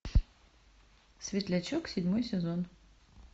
светлячок седьмой сезон